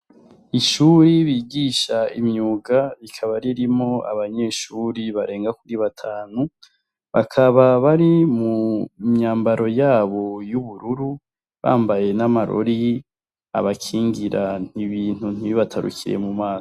Ishure bigisha imyuga rikaba ririmwo abanyeshure barenga kuri batanu, bakaba bari mu myambaro yabo y'ubururu, bambaye n'amarori abakingira ibintu ntibibatarukire mu maso.